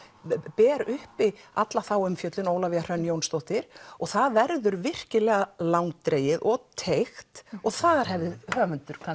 ber uppi alla þá umfjöllun Ólafía Hrönn Jónsdóttir og það verður virkilega langdregið og teygt og þar hefði höfundur